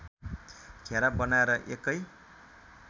घेरा बनाएर एकै